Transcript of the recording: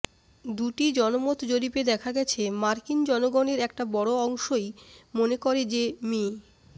দুটি জনমত জরিপে দেখা গেছে মার্কিন জনগণের একটা বড় অংশই মনে করে যে মি